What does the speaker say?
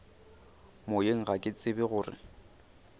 moyeng ga ke tsebe gore